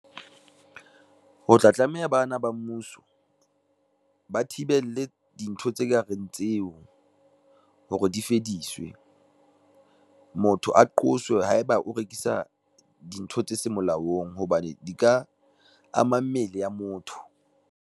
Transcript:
Ho tla tlameha bana ba mmuso, ba thibele dintho tse kareng tseo hore di fediswe. Motho a qoswe haeba o rekisa dintho tse seng molaong hobane di ka ama mmele ya motho.